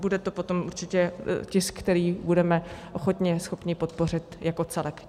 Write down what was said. Bude to potom určitě tisk, který budeme hodně schopni podpořit jako celek.